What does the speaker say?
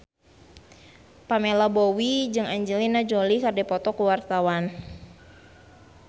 Pamela Bowie jeung Angelina Jolie keur dipoto ku wartawan